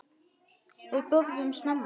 Við borðum snemma.